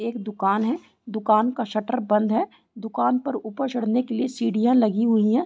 एक दुकान है। दुकान का शटर बंद है। दुकान पर ऊपर चढ़ने के लिए सीढ़ियां लगी हुईं हैं।